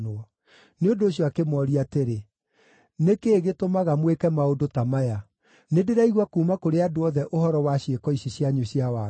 Nĩ ũndũ ũcio akĩmooria atĩrĩ, “Nĩ kĩĩ gĩtũmaga mwĩke maũndũ ta maya? Nĩndĩraigua kuuma kũrĩ andũ othe ũhoro wa ciĩko ici cianyu cia waganu.